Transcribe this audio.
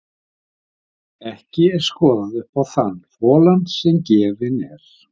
Ekki er skoðað upp í þann folann sem gefinn er.